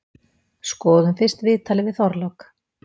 Skoðum fyrst viðtalið við Þorlák.